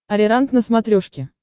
ариранг на смотрешке